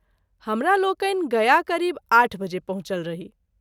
हमरा लोकनि गया क़रीब आठ बजे पहुँचल रही।